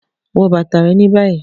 Wọ bata rẹ ni bayi!